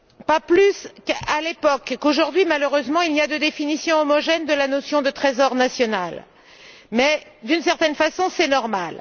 Pas plus à l'époque qu'aujourd'hui, malheureusement, il n'y a de définition homogène de la notion de trésor national mais, d'une certaine façon, c'est normal.